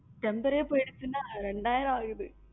Temper ரே போயிருச்சுன்னா ரெண்டு ஆயரம் ஆகுது